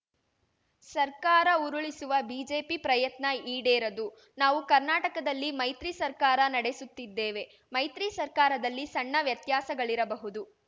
ಸರ್ಕಾರ ಉರುಳಿಸುವ ಬಿಜೆಪಿ ಪ್ರಯತ್ನ ಈಡೇರದು ನಾವು ಕರ್ನಾಟಕದಲ್ಲಿ ಮೈತ್ರಿ ಸರ್ಕಾರ ನಡೆಸುತ್ತಿದ್ದೇವೆ ಮೈತ್ರಿ ಸರ್ಕಾರದಲ್ಲಿ ಸಣ್ಣ ವ್ಯತ್ಯಾಸಗಳಿರಬಹುದು